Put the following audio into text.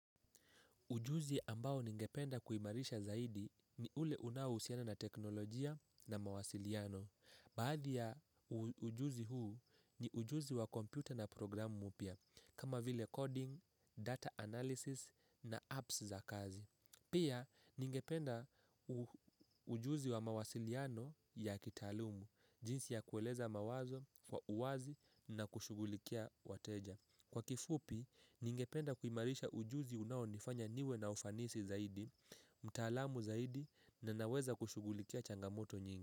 Ujuzi ambao ningependa kuimarisha zaidi ni ule unaohusiana na teknolojia na mawasiliano. Baadhi ya ujuzi huu ni ujuzi wa komputa na programu mpya, kama vile coding, data analysis na apps za kazi. Pia ningependa ujuzi wa mawasiliano ya kitaalumu, jinsi ya kueleza mawazo kwa uwazi na kushugulikia wateja. Kwa kifupi, ningependa kuimarisha ujuzi unaonifanya niwe na ufanisi zaidi, mtaalamu zaidi na naweza kushugulikia changamoto nyingi.